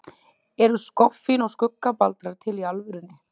Eru skoffín og skuggabaldrar til í alvörunni?